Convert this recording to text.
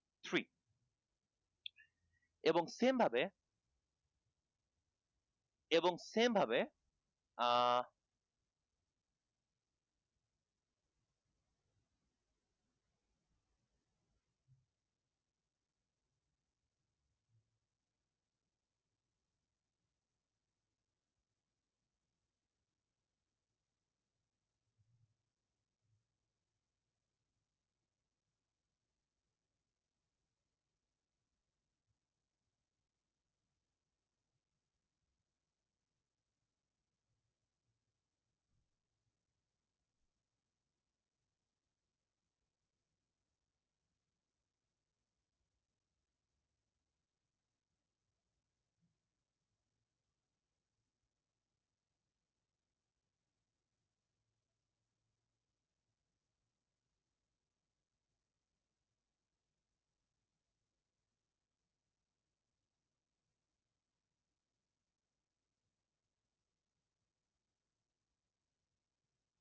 three এবং same ভাবে এবং same ভাবে আহ